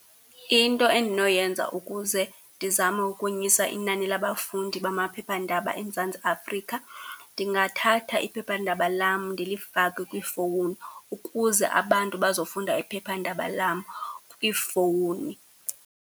Into endinoyenza ukuze ndizame ukonyusa inani labafundi bamaphephandaba eMzantsi Afrika, ndingathatha iphephandaba lam ndilifake kwiifowuni ukuze abantu bazofunda iphephandaba lam kwiifowuni.